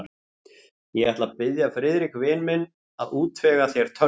Ég ætla að biðja Friðrik vin minn að útvega þér tölvu.